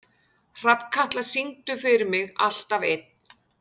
Hrafnkatla, syngdu fyrir mig „Alltaf einn“.